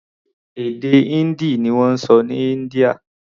Èdè Hindi ni wọ́n sọ ní India.